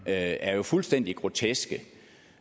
er jo fuldstændig grotesk